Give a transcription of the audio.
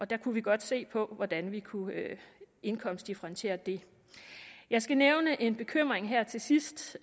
der kunne vi godt se på hvordan vi kunne indkomstdifferentiere det jeg skal nævne en bekymring her til sidst